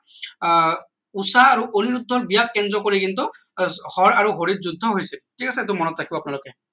আহ উষা আৰু অনুৰোদ্ধ বিয়াক কেন্দ্ৰ কৰি কিন্তু হৰ আৰু হৰি যুদ্ধ হৈছে ঠিক আছে টো মনত ৰাখিব আপোনালোকে